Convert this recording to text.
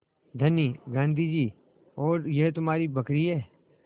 धनी गाँधी जी और यह तुम्हारी बकरी है